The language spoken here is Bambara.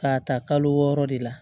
K'a ta kalo wɔɔrɔ de la